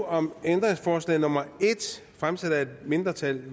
om ændringsforslag nummer en fremsat af et mindretal